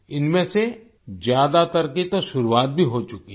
इनमें से ज़्यादातर की तो शुरुआत भी हो चुकी है